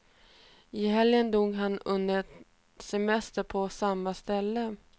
I helgen dog han under en semester på samma ställe.